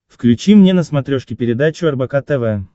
включи мне на смотрешке передачу рбк тв